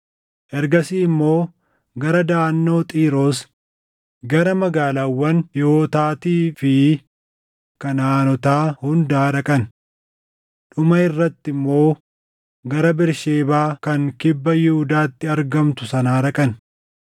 Ergasii immoo gara Daʼannoo Xiiroos, gara magaalaawwan Hiiwotaatii fi Kanaʼaanotaa hundaa dhaqan. Dhuma irratti immoo gara Bersheebaa kan kibba Yihuudaatti argamtu sanaa dhaqan.